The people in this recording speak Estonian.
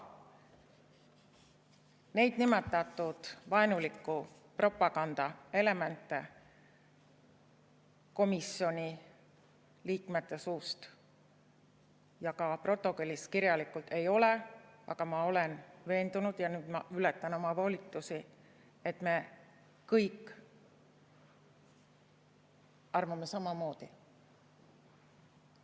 Neid nimetatud vaenuliku propaganda elemente komisjoni liikmete suust ja ka protokollis kirjalikult ei ole, aga ma olen veendunud, ja nüüd ma ületan oma volitusi, et me kõik arvame samamoodi.